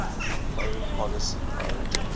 foreign policy priorities